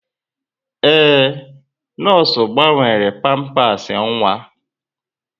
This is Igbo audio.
Ee, nọọsụ gbanwere pampasị nwa.